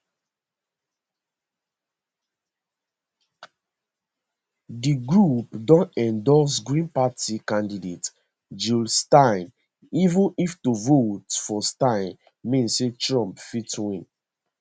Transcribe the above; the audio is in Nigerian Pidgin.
di group don endorse green party candidate jill stein even if to vote for stein mean say trump fit win